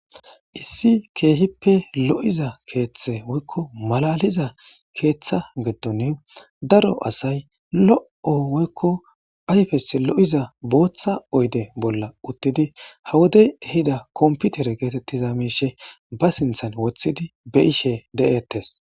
Issi keehippe lo'iza keeththe woykko malaliza keeththa geddoni daro asay lo'o woykko ayfes lo'iza booththa oyde bolla uttidi hawodey ehida komputer geetettiza miishe ba sinthan woththidi be ishe de'ettes.